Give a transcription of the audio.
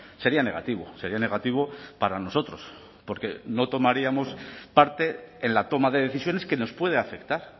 sería negativo sería negativo para nosotros porque no tomaríamos parte en la toma de decisiones que nos puede afectar